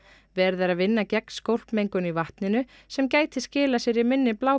verið er að vinna gegn skólpmengun í vatninu sem gæti skilað sér í minni